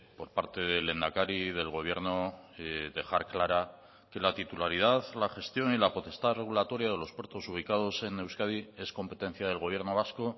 por parte del lehendakari y del gobierno dejar clara que la titularidad la gestión y la potestad regulatoria de los puertos ubicados en euskadi es competencia del gobierno vasco